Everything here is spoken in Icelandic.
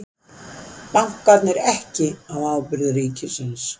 Bankarnir ekki á ábyrgð ríkisins